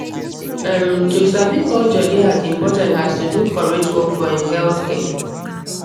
um to sabi culture dey as important as to do correct work for[um]healthcare